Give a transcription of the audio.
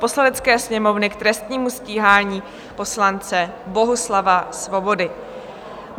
Poslanecké sněmovny k trestnímu stíhání poslance Bohuslava Svobody